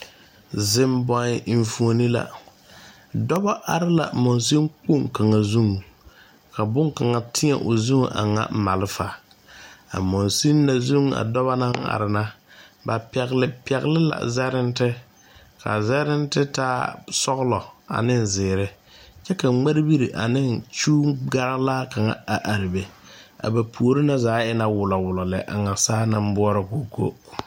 Zeŋbɔii enfuone la dɔba are la masen kpoŋ kaŋa zuŋ ka bonkaŋa teɛ o zu a ŋa malefa a masene na zuŋ a dɔbɔ naŋ are na ba pɛgle pɛgle la zarente kaa zarente taa sɔglɔ aneŋ zeere kyɛ ka ngmaribire aneŋ kyuu garalaa kaŋa a are be a ba puore na zaa e la wɔlɔwɔlɔ lɛ ŋa saa naŋ bɔɔrɔ koo ko.